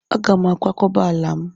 Aga m akwakọba ala m.